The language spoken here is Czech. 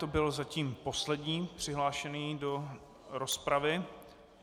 To byl zatím poslední přihlášený do rozpravy.